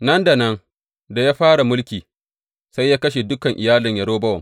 Nan da nan da ya fara mulki, sai ya kashe dukan iyalin Yerobowam.